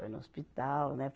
Foi no hospital, né?